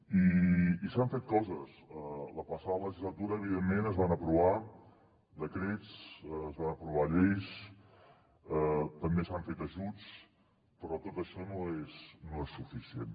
i s’han fet coses la passada legislatura evidentment es van aprovar decrets es van aprovar lleis també s’han fet ajuts però tot això no és suficient